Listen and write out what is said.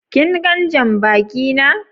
kin gan jam-baki na?